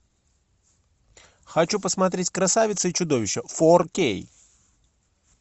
хочу посмотреть красавица и чудовище фор кей